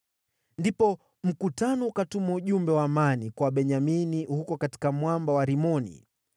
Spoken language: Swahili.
Ndipo mkutano ukatuma ujumbe wa amani kwa Wabenyamini huko katika mwamba wa Rimoni.